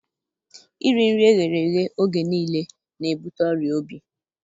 Iri nri eghereghe oge niile na-ebute ọrịa obi